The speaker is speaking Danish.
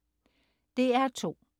DR2: